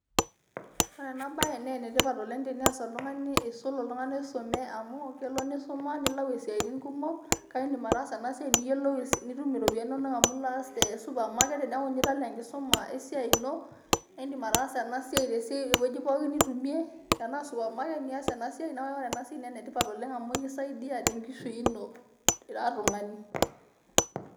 Ore ena bae naa enetipat oleng' teneas oltung'ani aisul oltung'ani oisume amu kelo nisuma nilau esiaitin kumok kake idim ataasa ena siai niyielou, nitum iropiyiani inonok amu I'll aas te supermarket teneeku ninye etala enkisuma esiai ino naa iidim ataasa ena siai tewueji pooki nitumie tenaa supermarket niasie neeku ore ena siai naa ene tipat oleng' amu keisaidia tenkishui ino ira tung'ani.